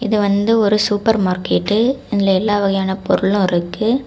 இது வந்து ஒரு சூப்பர் மார்கெட்டு இதுல எல்லா வகையான பொருளு இருக்கு.